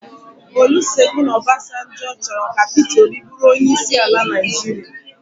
Olusegun Obasanjo chọrọ ka Pita Obi bụrụ onyeisi al Naịjirịa